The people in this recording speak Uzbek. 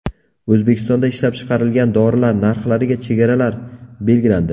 O‘zbekistonda ishlab chiqarilgan dorilar narxlariga chegaralar belgilandi.